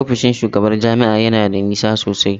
Ofishin shugabar jami'a ya na da nisa sosai.